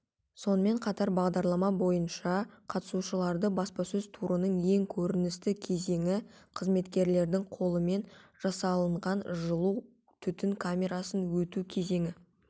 сонымен қатар бағдарлама бойынша қатысушыларды баспасөз турының ең көріністі кезеңі қызметкерлердің қолымен жасалынған жылу түтін камерасынан өту кезеңі